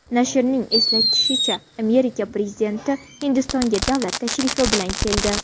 Nashrning eslatishicha, Amerika prezidenti Hindistonga davlat tashrifi bilan keldi.